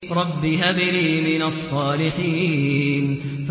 رَبِّ هَبْ لِي مِنَ الصَّالِحِينَ